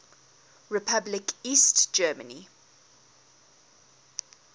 republic east germany